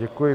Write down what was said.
Děkuji.